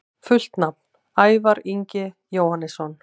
Fullt nafn: Ævar Ingi Jóhannesson